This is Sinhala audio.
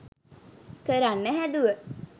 කරන්න හැදුව